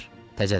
Təzədir.